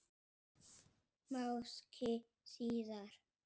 Máski síðar.